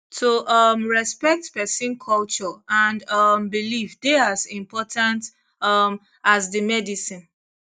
to um respect person culture and um belief dey as important um as the medicine